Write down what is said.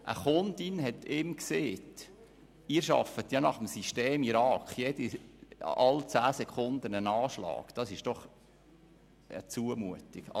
Eine Kundin sagte ihm, er arbeite «nach dem System Irak», also alle zehn Sekunden ein Anschlag, das sei ja eine Zumutung.